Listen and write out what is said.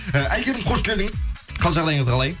і әйгерім қош келдіңіз қал жағдайыңыз қалай